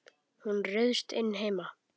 Hún ryðst inn heima.